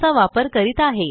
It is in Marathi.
चा वापर करीत आहे